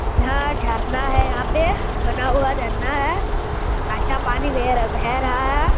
यहां झरना है यहां पे बना हुआ झरना है अच्छा पानी बेह रहा भेह रहा है।